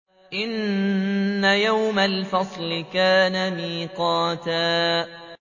إِنَّ يَوْمَ الْفَصْلِ كَانَ مِيقَاتًا